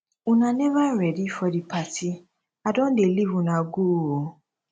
una never ready for the party i don dey leave una go oo